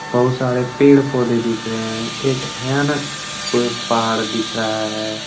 बहुत सारे पेड़ पौधे दिख रहे हैं। एक भयानक प पहाड़ दिख रहा है।